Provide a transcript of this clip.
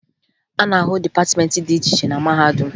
A na-ahụ dịpatịmeentị dị iche iche na mahadum